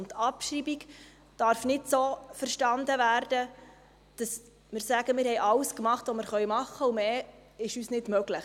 Die Abschreibung darf nicht so verstanden werden, dass wir sagen: Wir haben alles getan, was wir tun können, und mehr ist uns nicht möglich.